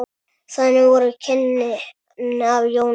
Þannig voru kynnin af Jónu.